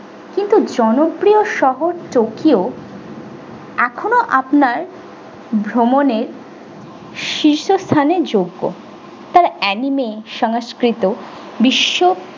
কিন্তু জনপ্রিয় শহর tokyo এখন ও আপনার ভ্রমণের শীর্ষ স্থানে যোগ্য তার anime সংস্কৃত বিশ্ব।